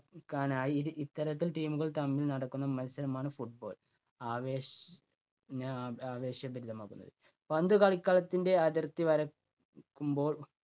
ആക്കാനായി ഇരു ഇത്തരത്തിൽ team കൾ തമ്മിൽ നടക്കുന്ന മത്സരമാണ് football. ആവേശ ന ആ~ആവേശഭരിതമാക്കുന്നത്. പന്ത് കളിക്കളത്തിൻ്റെ അതിർത്തി വര~ക്കുമ്പോൾ